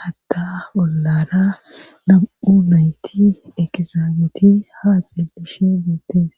hata ollara nam7u nayti ekizaabeti ha xeelishe buote